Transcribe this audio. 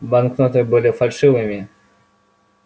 банкноты были фальшивыми